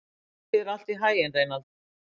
Gangi þér allt í haginn, Reynald.